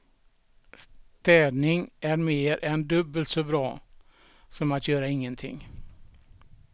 Städning är mer än dubbelt så bra som att göra ingenting.